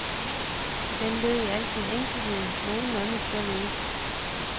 Den lød i al sin enkelhed nogenlunde således.